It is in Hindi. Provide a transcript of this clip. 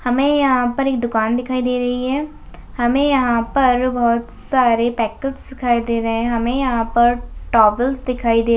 हमें इहा पर एक दुकान दिखाई दे रही हैं हमें यह पर बहुत सारे पैकर्स दिखाई दे रहे हैं हमें यहाँ पर टॉबेल्स दिखाई दे रा--